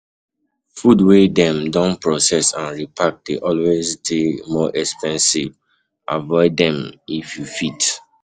Food wey dem don proccess and repark dey always dey more expensive, avoid them if you fit